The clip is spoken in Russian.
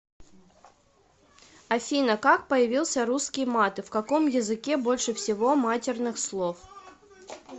афина как появился русский мат и в каком языке больше всего матерных слов